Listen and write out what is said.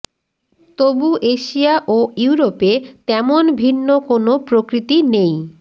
তবু এশিয়া ও ইওরোপে তেমন ভিন্ন কোনো প্রকৃতি নেই